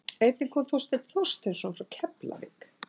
Einnig kom Þorsteinn Þorsteinsson frá Keflavík.